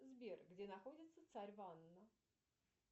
сбер где находится царь ванна